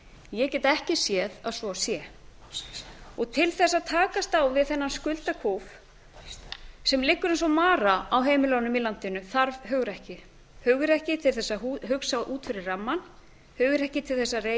ég get ekki séð að svo sé til þess að takast á við þennan skuldakúf sem liggur eins og mara á heimilunum í landinu þarf hugrekki hugrekki til þess að hugsa út fyrir rammann hugrekki til þess að